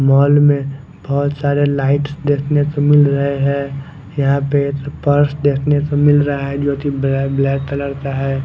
Mall में बोहोत सारे लाइट्स देखने को मिल रहे हैं यहां पे एक पर्स देखने को मिल रहा है जो कि ब्लै ब्लैक कलर का है।